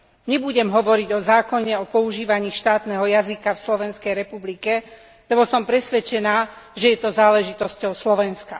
Nebudem hovoriť o zákone, o používaní štátneho jazyka v Slovenskej republike, lebo som presvedčená, že je to záležitosťou Slovenska.